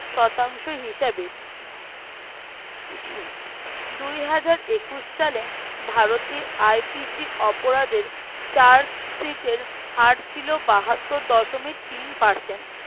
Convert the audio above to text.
শতাংশ হিসেবে দুই হাজার একুশ সালে ভারতে IPC অপরাধের chard sheet হার ছিল বাহাত্তর দশমিক তিন Percent